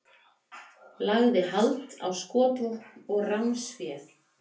Lagði hald á skotvopn og ránsfé